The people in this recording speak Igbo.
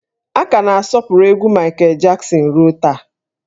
A ka na-asọpụrụ egwú Maịkel Jaksin ruo taa